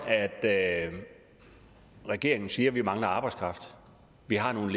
at regeringen siger vi mangler arbejdskraft vi har nogle